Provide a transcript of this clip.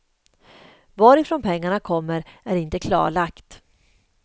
Varifrån pengarna kommer är inte klarlagt.